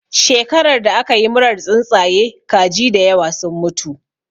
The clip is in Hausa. Shekarar da aka yi murar tsuntsaye, kaji da yawa sun mutu.